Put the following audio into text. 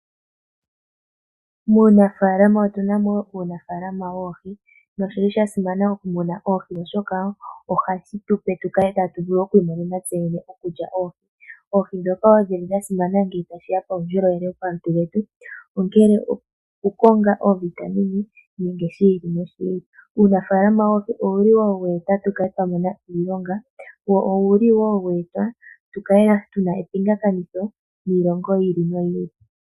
Muunafaalama otuna mo wo uunafaalama woohi, noshili sha simana oku muna oohi oshoka ohashi tupe tu kale tatu vulu oku imonena tse yene okulya oohi, oohi dhoka wo dhili dha simana ngele ta shiya kuundjolowele wopomalutu getu, ongele oku konga oovitamine nenge shi ilile. Uunafaalama woohi owuli weeta tu kale twa mona iilonga, wo owuli woo weeta tu kale tuna epingakanitho niilongo yi ili noyi ili.